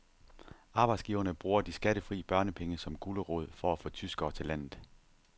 Arbejdsgiverne bruger de skattefri børnepenge som gulerod for at få tyskere til landet.